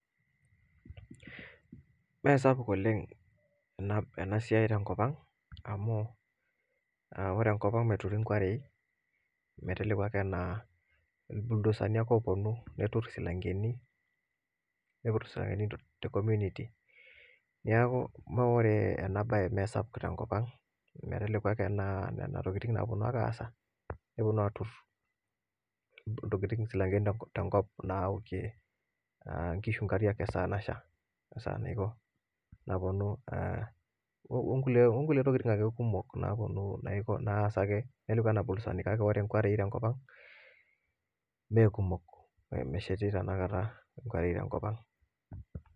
Mesapuk oleng ena, ena siai tenkop ang amu uh ore enkop ang meturi inkuarei meteleku ake naa ilbuldosani ake oponu neturr isilankeni nipuit isilankeni te community niaku meore ena baye mesapuk tenkop ang meteleku ake naa nena tokitin naponu ake nasha neponu aturr iltokiting isilankeni naa tenkop naokie uh inkishu inkariak esaa nasha esaa naiko naponu eh onkulie onkulie tokiting ake kumok naponu naiko naasaki meteleku enabol sani niaku ore inkuare tenkop ang mekumok mesheti tenakata inkuarei tenkop ang.